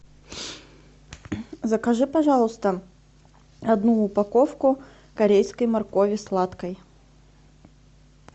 закажи пожалуйста одну упаковку корейской моркови сладкой